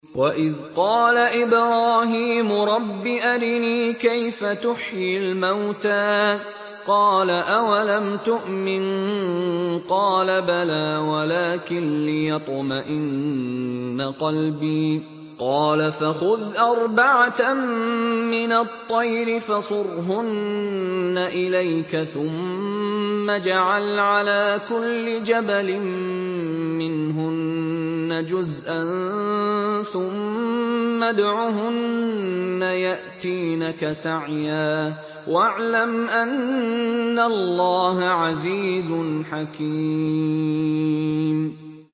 وَإِذْ قَالَ إِبْرَاهِيمُ رَبِّ أَرِنِي كَيْفَ تُحْيِي الْمَوْتَىٰ ۖ قَالَ أَوَلَمْ تُؤْمِن ۖ قَالَ بَلَىٰ وَلَٰكِن لِّيَطْمَئِنَّ قَلْبِي ۖ قَالَ فَخُذْ أَرْبَعَةً مِّنَ الطَّيْرِ فَصُرْهُنَّ إِلَيْكَ ثُمَّ اجْعَلْ عَلَىٰ كُلِّ جَبَلٍ مِّنْهُنَّ جُزْءًا ثُمَّ ادْعُهُنَّ يَأْتِينَكَ سَعْيًا ۚ وَاعْلَمْ أَنَّ اللَّهَ عَزِيزٌ حَكِيمٌ